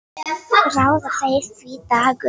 Ráða þeir því, Dagur?